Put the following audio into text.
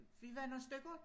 Vi var nogle stykker